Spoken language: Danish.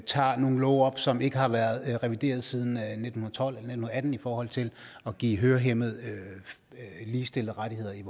tager nogle love op som ikke har været revideret siden nitten tolv eller nitten atten i forhold til at give hørehæmmede ligestillede rettigheder i